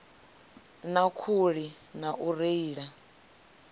na khuli na u reila